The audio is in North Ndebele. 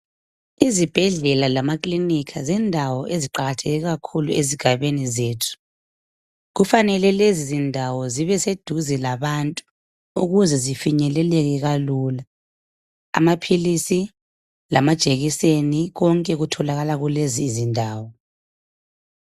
Izibhedlela lamakilinika zindawo eziqakatheke kakhulu ezigabeni zethu. Kufanele lezizindawo zibe seduze labantu ukuze zifinyeleleke kalula. Amaphilisi lamajekiseni konke kutholakala kulezi izindawo